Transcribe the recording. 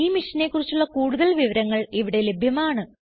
ഈ മിഷനെ കുറിച്ചുള്ള കുടുതൽ വിവരങ്ങൾ ഇവിടെ ലഭ്യമാണ്